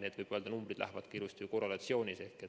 Need numbrid lähevad ilusti korrelatsioonis ehk